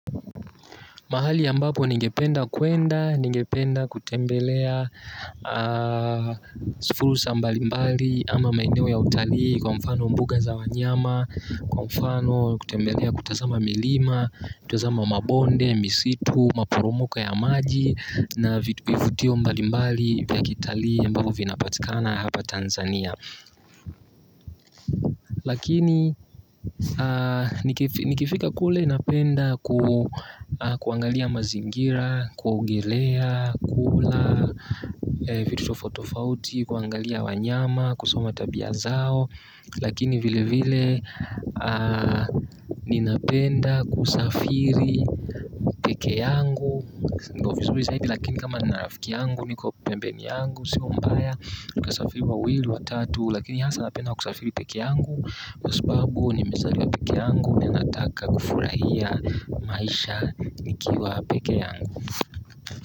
Mahali ambapo ningependa kuenda, ningependa kutembelea si fursa mbalimbali ama maeneo ya utalii kwa mfano mbuga za wanyama, kwa mfano kutembelea kutazama milima, kutazama mabonde, misitu, maporomoka ya maji na vifutio mbalimbali vya kitalii ambavo vinapatikana hapa Tanzania. Lakini nikifika kule napenda kuangalia mazingira, kuogelea, kula, vitu tofauti tofauti, kuangalia wanyama, kusoma tabia zao. Lakini vile vile ninapenda kusafiri peke yangu. Niko vizuri zaidi lakini kama nina rafiki yangu niko pembeni yangu, sio mbaya, nikasafiri wawili watatu. Lakini hasa napenda kusafiri peke yangu. Kwa sababu nimezaliwa peke yangu. Ninataka kufurahia maisha nikiwa peke yangu.